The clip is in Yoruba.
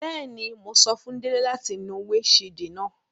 Bẹẹni, Mo sọ fun Dele lati nu windṣiidi naa